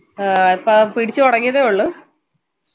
ആ പിടിച്ചു തുടങ്ങിയതേയുള്ളു